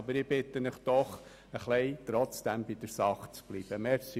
Aber ich bitte Sie trotzdem, etwas bei der Sache zu bleiben.